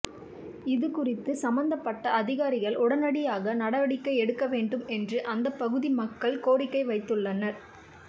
இதுகுறித்து சம்பந்தப்பட்ட அதிகாரிகள் உடனடியாக நடவடிக்கை எடுக்க வேண்டும் என்று அந்தப் பகுதி மக்கள் கோரிக்கை வைத்துள்ளனர்